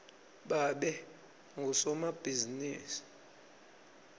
babe ngusomabhizimisi